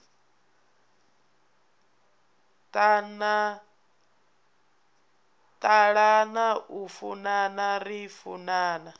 ṱalana u funana ri funana